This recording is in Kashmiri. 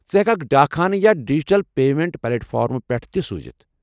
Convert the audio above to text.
ژٕ ہٮ۪ککھ ڈاک خانہٕ یا ڈجٹل پیمنٛٹ پلیٹفارمو پٮ۪ٹھٕ تہِ سوُزِتھ ۔